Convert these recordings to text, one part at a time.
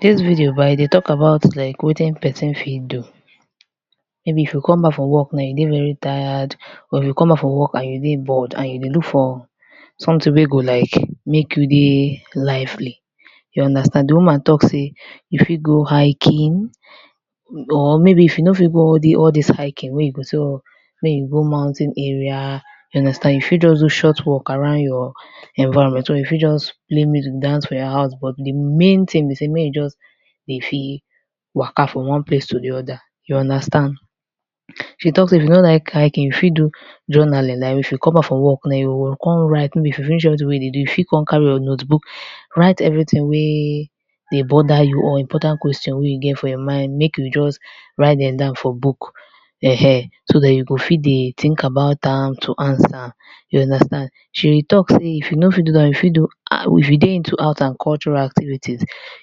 Dis video bah like e dey talk about wetin person fit do. Maybe if you come back for work na and you dey very tired, or if you come back from work and you dey look for something wey go like make you dey lively you understand di woman talk sey you fit go hiking or maybe if you no fit go hiking like you all dis mountain area you understand so you fit just do short walk around your environment, you fit just play music dance for your house but di main thing be sey make you just dey fit waka form one place to di oda, you understand e talk say if you no like hiking you fit do journaling I you come back from work na you go come write, if you finish wetin you dey do you fit come carry your note book write everything wey dey bother you or important question wey you get for your mind make you just write dem down for book, ehen so dat you go fit dey think about am to answer you understand. She talk sey if you no fit do dat one you fit do if you dey into art and cultural activity,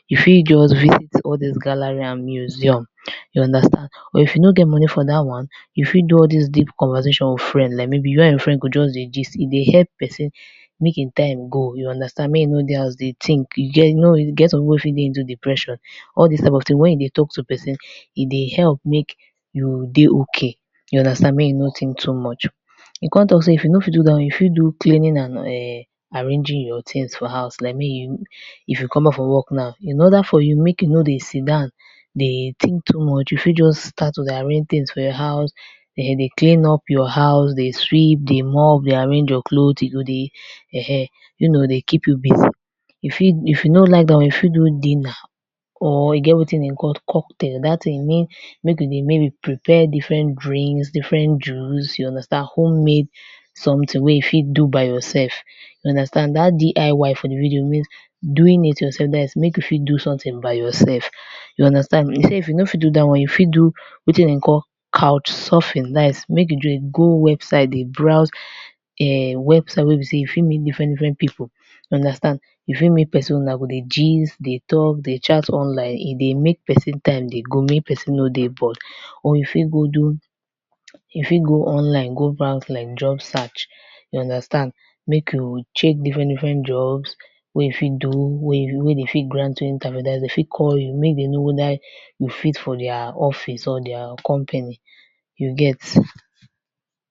you fit jut view all doz gallery and museum, you understand or if you no fit do all doz one you fit do deep conversation with friend, like you go just dey gist with friend e dey help person make im time dey go, you understand make e nor dey house dey think, e get some person wey fit dey into depression. All dis type of thing wen you dey talk to person e ,dey help make you dey okay make you no think too much. E come talk sey if you no fit do dat one you fit do cleaning and arranging yor thing for house, is like make you if you come back from work now in oda for you make you no dey sit down make you dey think too much you fit just start to dey arrange things for house, make you dey clean your house, dey sweep, dey mop, dey arrange your clothe e go dey, ehen you know dey keep you busy, if you no fit do dat one you fit do dinner, or again wetin dem dey call cup drink, make you dey prepare different drink, different juice you understand wey you fit make for house by yourself, dat DIY wey doing it your self dat is make you fit so something by yourself you understand, if you no fit do dat one you fit do wetin dem dey call cafsurfing dat is make you dey go website dey browse [urn] website wey be sey you fit meet different different people, you fit meet person una go dey gist, dey chat dey talj online, e dey make person time dey go, make person no dey bored or you fit go do, you fit go online go browse like just chat you understand, make you change different different jobs wey you fit do, dem fit grant you interview, den fit call you make dem know whether you fit for their office or their company you get.